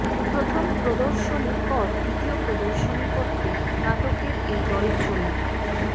প্রথম প্রদর্শনীর পর দ্বিতীয় প্রদর্শনী করতে নাটকের এই দল চলে